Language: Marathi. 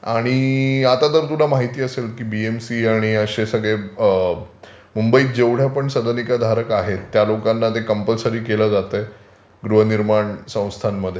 आणि आता तर तुला माहिती असेल की बीएमसी आणि अशे सगळे मुंबईत जेवढ्या पण सदनिका धारक आहेत त्या लोकांना ते कंपल्सरि केलं जातंय गृहनिर्माण संस्थांमध्ये.